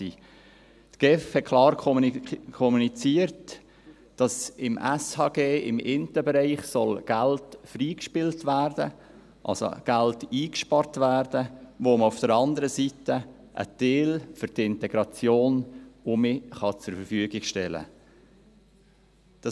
Die GEF kommunizierte klar, dass im SHG, im einen Bereich, Geld freigespielt werden soll, also Geld eingespart werden soll, welches man auf der anderen Seite teilweise für die Integration wieder zur Verfügung stellen kann.